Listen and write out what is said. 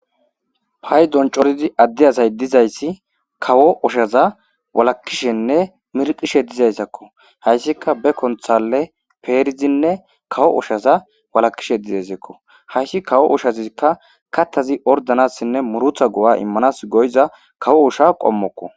hay doncoridi adde asay dizayssi kawo ushaza walakishenne mirqishe dizayssakko hayssika be konthale peerizinne kawo oshaza walakishe dizaysekko hayssi kawo ushazikka kattazi ordanassinne murutha go7a immanas goyza kawo usha qommokko